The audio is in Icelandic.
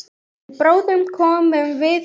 En bráðum komum við heim.